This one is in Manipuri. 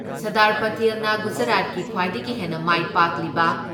ꯁꯔꯗꯥꯔ ꯄꯥꯇꯦꯜꯅ ꯒꯨꯖꯔꯥꯠꯀꯤ ꯈ꯭ꯋꯥꯏꯗꯒꯤ ꯍꯦꯟꯅ ꯃꯥꯏ ꯄꯥꯛꯂꯤꯕ